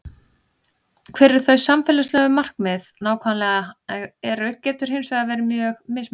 Hver þau samfélagslegu markmið nákvæmlega eru getur hins vegar verið mjög mismunandi.